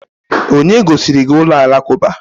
Onye gosiri gị ụlọ alakụba?